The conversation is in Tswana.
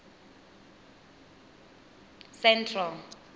central